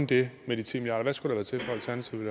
det med de ti milliard kroner hvad skulle der til før alternativet